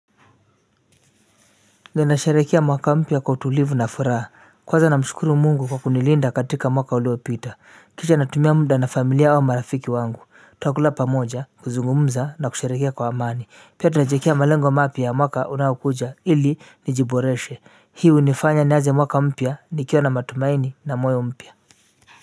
Ninasherehekea mwaka mpya kwa utulivu na furaha kwanza namshukuru Mungu kwa kunilinda katika mwaka uliopita kisha natumia muda na familia au marafiki wangu tunakula pamoja kuzungumza na kusherehekea kwa amani pia tunajiekea malengo mapya mwaka unaokuja ili nijiboreshe hii hunifanya nianze mwaka mpya nikiwa na matumaini na moyo mpya.